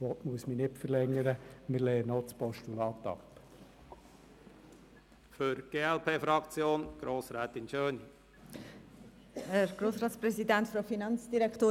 Dies habe ich bereits ausgeführt, und ich muss nicht länger darauf eingehen: